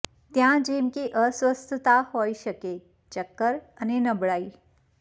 ત્યાં જેમ કે અસ્વસ્થતા હોઈ શકે ચક્કર અને નબળાઈ